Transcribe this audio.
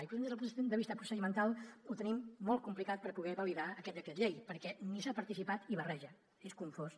i des del punt de vista procedimental ho tenim molt complicat per poder validar aquest decret llei perquè no s’ha participat i barreja és confós